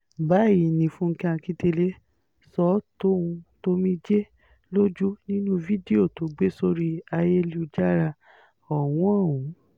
báyìí ni fúnkẹ́ akíndélé sọ ọ́ tòun ti omijé lójú nínú fídíò tó gbé sórí ayélujára ọ̀hún ọ̀hún